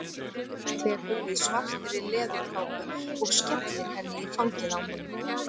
Tekur við svartri leðurkápu og skellir henni í fangið á honum.